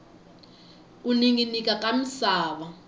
ku ninginika ka misava